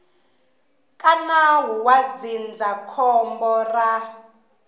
ka nawu wa ndzindzakhombo ra